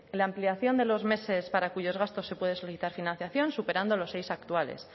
la ampliación de los meses para cuyos gastos se puede solicitar financiación superando los seis actuales